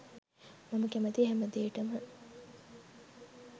මම කැමති හැමදේටම